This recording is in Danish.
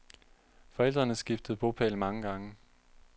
Forældrene skiftede bopæl mange gange.